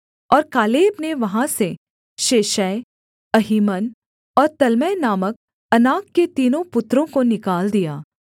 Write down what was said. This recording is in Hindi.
और कालेब ने वहाँ से शेशै अहीमन और तल्मै नामक अनाक के तीनों पुत्रों को निकाल दिया